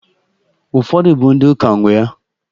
Ufodu bụ ndị ụka nwee ya